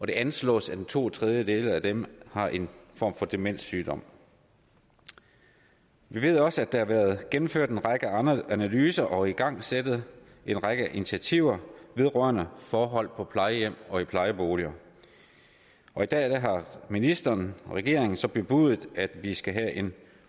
det anslås at to tredjedele af dem har en form for demenssygdom vi ved også at der har været gennemført en række analyser og igangsat en række initiativer vedrørende forholdene på plejehjem og i plejeboliger og i dag har ministeren og regeringen så bebudet at vi skal have en